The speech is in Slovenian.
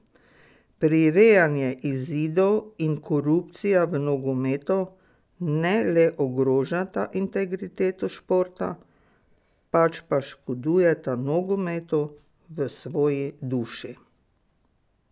Prirejanje izidov in korupcija v nogometu ne le ogrožata integriteto športa, pač pa škodujeta nogometu v svoji duši.